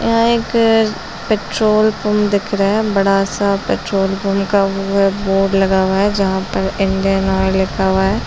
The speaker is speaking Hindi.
यहाँ एक पट्रोल पंप दिख रहा हैं बड़ा सा पट्रोल पंप का वो अम बोर्ड लगा हुआ हैं जहाँ पर इंडियन आयल लिखा हुआ हैं।